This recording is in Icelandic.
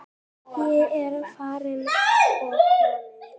Ég er farin og komin.